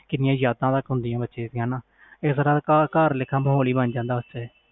ਕਿੰਨੀਆਂ ਯਾਦਾਂ ਹੁੰਦੀਆਂ ਆ ਬਚਪਨ ਦੀਆ ਘਰ ਵਾਲਾ ਮੋਹਾਲ ਹੁੰਦਾ ਆ